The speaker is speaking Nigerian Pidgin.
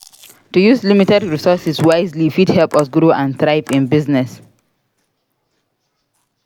To use limited resources wisely fit help us grow and thrive in business.